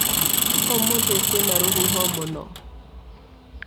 ũmũthĩ kwĩna rũhuho mũno.